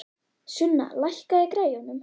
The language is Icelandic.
Sunna, lækkaðu í græjunum.